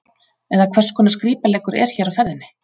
Eða hvers konar skrípaleikur er hér á ferðinni?